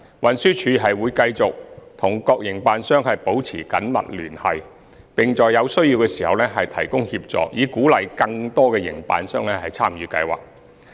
運輸署會繼續與各營辦商保持緊密聯繫，並在有需要時提供協助，以鼓勵更多營辦商參與計劃。